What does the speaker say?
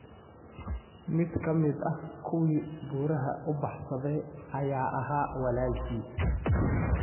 Mid ka mid ah kuwii buuraha u baxsaday ayaa ahaa walaalkii.